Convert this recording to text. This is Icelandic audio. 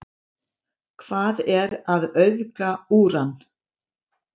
hvað er að auðga úran